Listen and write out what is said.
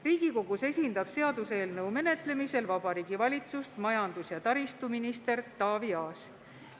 Riigikogus esindab seaduseelnõu menetlemisel Vabariigi Valitsust majandus- ja taristuminister Taavi Aas.